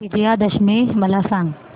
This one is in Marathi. विजयादशमी मला सांग